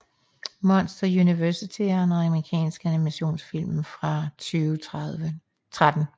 Monsters University er en amerikansk animationsfilm fra 2013